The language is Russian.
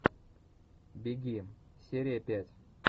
беги серия пять